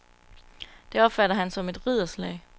Det opfatter han som et ridderslag.